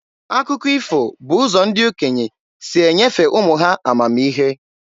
Akụkọ ifo bụ ụzọ ndị okenye si enyefe ụmụ ha amamihe.